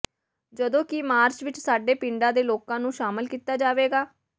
ਜਦੋਂਕਿ ਮਾਰਚ ਵਿੱਚ ਸਾਰੇ ਪਿੰਡਾਂ ਦੇ ਲੋਕਾਂ ਨੂੰ ਸ਼ਾਮਲ ਕੀਤਾ ਜਾਵੇਗਾ